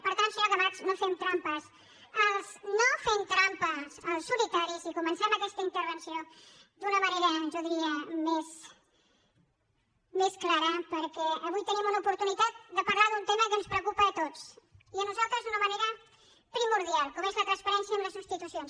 per tant senyora camats no fem trampes no fem trampes al solitari i comencem aquesta intervenció d’una manera jo diria més clara perquè avui tenim una oportunitat de parlar d’un tema que ens preocupa a tots i a nosaltres d’una manera primordial com és la transparència en les institucions